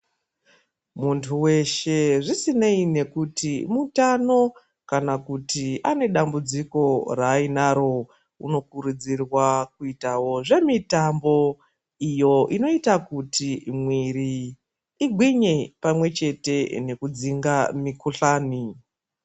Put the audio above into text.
Muntu weshe zvisinei kuti mutano kana kuti anedambudziko rainaro unokurudzirwa kuitawo zvemitombo iyo inoita kuti mwiri igwinye pamwe chete nekudzinga mikuhlani.